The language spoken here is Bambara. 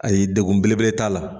Ayi degun belebele t'a la